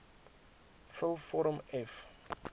vul vorm f